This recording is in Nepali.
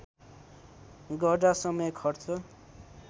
गर्दा समय खर्च